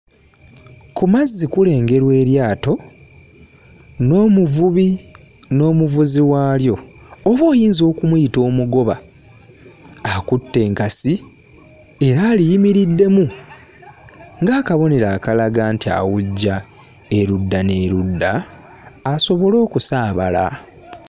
Ku mazzi kulengerwa eryato n'omuvubi n'omuvuzi waalyo oba oyinza okumuyita omugoba akutte enkasi era aliyimiriddemu ng'akabonero akalaga nti awujja erudda n'erudda asobole okusaabala.